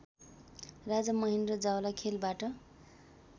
Raja Mahendra जावलाखेलबाट